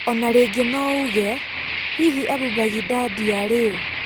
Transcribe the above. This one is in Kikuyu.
Ona rĩngĩ nouge: Hihi Ambu Mbagindad arĩ ũũ?